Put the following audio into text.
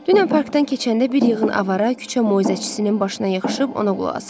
Dünən parkdan keçəndə bir yığın avara küçə moizəçisinin başına yığışıb ona qulaq asırdı.